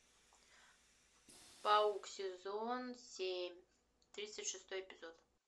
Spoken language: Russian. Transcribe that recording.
паук сезон семь тридцать шестой эпизод